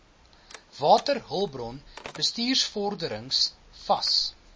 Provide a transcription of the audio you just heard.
waterhulpbron bestuursvorderings vas